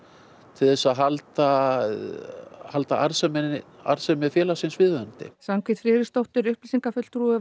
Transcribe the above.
til þess að halda að halda arðsemi arðsemi félagsins viðunandi Svanhvít Friðriksdóttir upplýsingafulltrúi